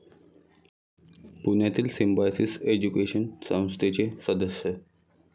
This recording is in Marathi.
पुण्यातील सिंम्बायसिस एज्युकेशन संस्थेचे सदस्य.